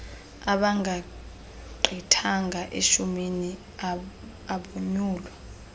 abangagqithanga eshumini abonyulwa